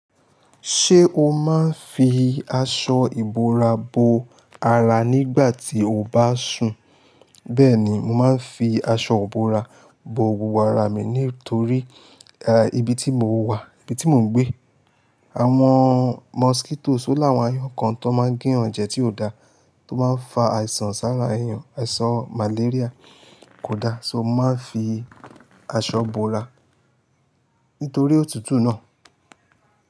Ṣé o máa ń fi aṣọ ìbora bo ara nígbà tí o bá sùn? Bẹ́ẹ̀ni, mo máa ń fi aṣọ ìbora bo gbogbo ara mi nítorí, eh, ibi tí mo wà, ibi tí mo ń gbé, àwọn mosquitoes o láwọn aáyọ̀kan tó máa ń gún ẹ̀jẹ̀ tí ò da tó máa ń fa àìsàn sára ẹ̀yàn, àìsàn malaria kò da, so mo máa ń fi aṣọ ìbora nítorí òtútù náà.